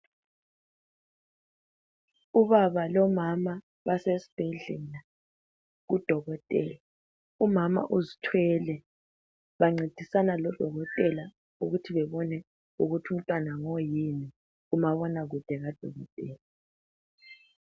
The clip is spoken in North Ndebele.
Ubaba lomama basesibhedlela kudokotela umama uzithwele bancedisana lodokotela ukuthi bebone ukuthi umntwana ngoyini kumabona kude kadokotela.